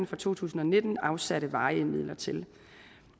for to tusind og nitten afsatte varige midler til